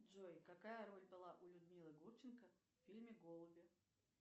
джой какая роль была у людмилы гурченко в фильме голуби